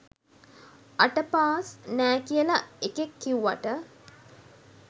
අට පාස් නෑ කියල එකෙක් කිව්වට